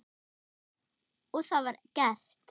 Og það var gert.